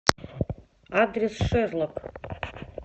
адрес шерлок